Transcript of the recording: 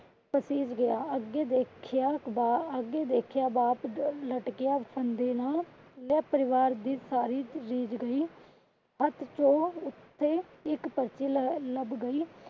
ਪਸੀਜ ਗਿਆ। ਅੱਗੇ ਦੇਖਿਆ ਅੱਗੇ ਦੇਖਿਆ ਬਾਤ ਲਟਕਿਆ ਫ਼ੰਦੇ ਨਾਲ ਪੂਰਾ ਪਰਿਵਾਰ ਦੀ ਸਾਰੀ . ਗਈ . ਹੱਥ ਚੋਂ ਉਤੇ ਇੱਕ ਪਰਚੀ ਲੱਭ ਗਈ।